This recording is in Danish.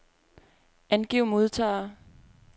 Angiv modtagere.